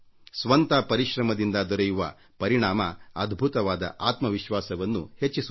ಸ್ವಂತ ಪರಿಶ್ರಮದಿಂದ ದೊರೆಯುವ ಪರಿಣಾಮ ಅದ್ಭುತವಾದ ಆತ್ಮವಿಶ್ವಾಸವನ್ನು ಹೆಚ್ಚಿಸುತ್ತದೆ